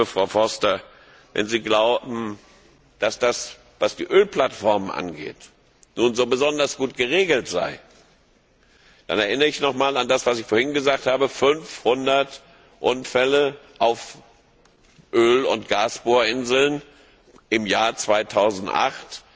Aber, liebe Frau Foster, wenn Sie glauben, dass das, was die Ölplattformen angeht, nun besonders gut geregelt sei, dann erinnere ich nochmals an das, was ich vorhin gesagt habe 500 Unfälle auf Öl und Gasbohrinseln im Jahr 2008